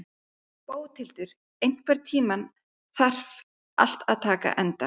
Bóthildur, einhvern tímann þarf allt að taka enda.